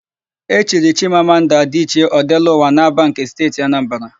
E chiri Chimamanda Adịchie, Ọdelụwa n'Ábàa nke Steeti Anambara.